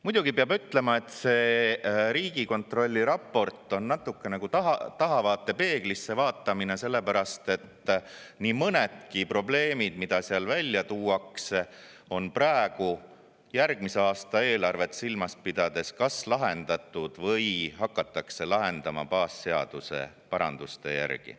Muidugi peab ütlema, et Riigikontrolli raport on natukene nagu tahavaatepeeglisse vaatamine, sellepärast et nii mõnedki probleemid, mis seal ära tuuakse, on praegu järgmise aasta eelarvet silmas pidades kas lahendatud või hakatakse neid lahendama baasseaduse paranduste järgi.